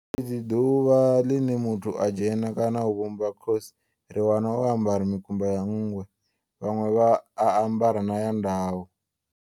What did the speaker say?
Fhedzi ḓuvha line muthu a dzhena kana u vhumbwa Khosi, ri wana o ambara mikumba ya nngwe, vhanwe vha a ambara na ya ndau.